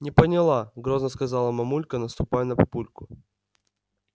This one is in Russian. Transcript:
не поняла грозно сказала мамулька наступая на папульку